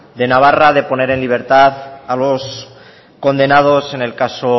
de navarra de poner en libertad a los condenados en el caso